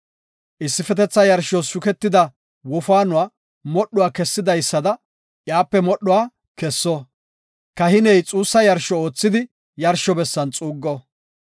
Issifetetha yarshos shuketida wofaanuwa modhuwa kessidaysada iyape modhuwa kesso. Kahiney xuussa yarsho oothidi yarsho bessan xuuggo.